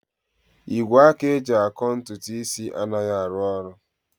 Igwe aka eji akọ ntutu isi anaghị arụ ọrụ